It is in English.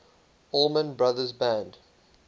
allman brothers band